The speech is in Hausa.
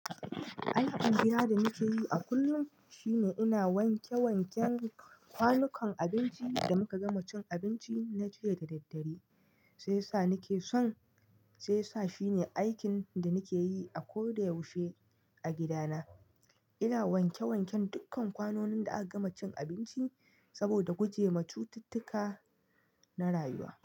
Aikin gida da nake yi a kullum shine ina wanke wanken kwanukan abinci da muka gama cin abinci na jiya da daddare, sai sa nake son, sai sa shine aikin da nake yi a koda yaushe a gida na. Ina wanke wanken dukkan kwanonin da aka gama cin abinci saboda gujema cututtuka na rayuwa.